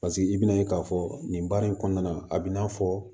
Paseke i bina ye k'a fɔ nin baara in kɔnɔna na a bi na fɔ